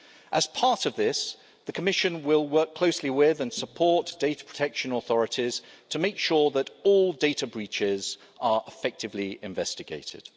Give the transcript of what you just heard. As part of this, the Commission will work closely with, and support, data protection authorities to make sure that all data breaches are effectively investigated.